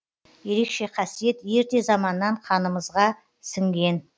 ерекше қасиет ерте заманнан қанымызға сіңген